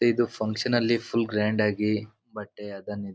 ಇದು ಫುನ್ಕ್ಷನ ಅಲ್ಲಿ full grand ಆಗಿ ಬಟ್ಟೆ ಅದನ ಇದನ್ --